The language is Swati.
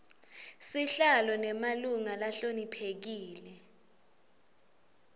sihlalo nemalunga lahloniphekile